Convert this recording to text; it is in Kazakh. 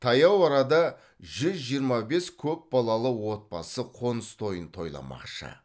таяу арада жүз жиырма бес көпбалалы отбасы қоныс тойын тойламақшы